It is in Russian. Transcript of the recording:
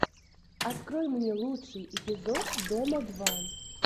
открой мне лучший эпизод дома два